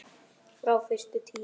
Frá fyrstu tíð.